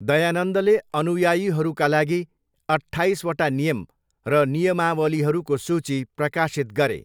दयानन्दले अनुयायीहरूका लागि अट्ठाइसवटा नियम र नियमावलीहरूको सूची प्रकाशित गरे।